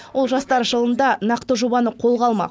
ол жастар жылында нақты жобаны қолға алмақ